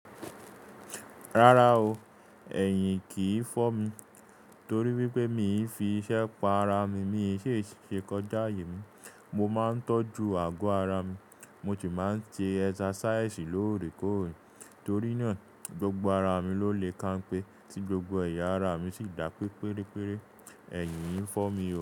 Rárá o, ẹ̀yìn kìí fọ́ mi torí wípé mi fi iṣẹ́ pa ara mi, mi sì ṣe kọjá aayè mi. Mo máa ń tọ́jú àgọ́ ara mi, mo sì máa ń ṣe exercise lóòrèkóòrè torí náà, gbogbo ara mi ló lè kanpẹ́ tí gbogbo ẹ̀yà ara mi sì dá pé pérére. Ẹ̀yìn kìí n fọ́ mi o.